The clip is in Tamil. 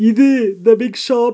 இது த பிக் ஷாப் .